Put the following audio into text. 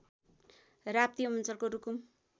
राप्ती अञ्चलको रुकुम